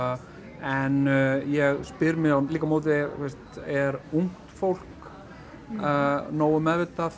en ég spyr mig líka á móti er ungt fólk nógu meðvitað